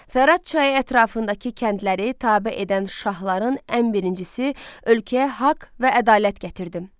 Fərat çayı ətrafındakı kəndləri tabe edən şahların ən birincisi ölkəyə haqq və ədalət gətirdim.